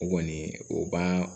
O kɔni o b'a